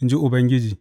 in ji Ubangiji.